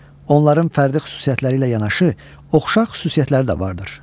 Onların fərdi xüsusiyyətləri ilə yanaşı oxşar xüsusiyyətləri də vardır.